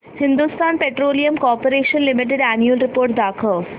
Hindustan petroleum corporation limited annual report दाखव